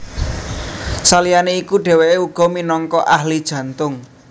Saliyané iku dhèwèké uga minangka ahli jantung